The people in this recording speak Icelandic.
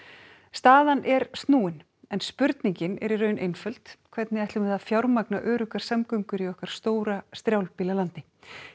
staðan er snúin en spurningin er í raun einföld hvernig ætlum við að fjármagna öruggar samgöngur í okkar stóra strjálbýla landi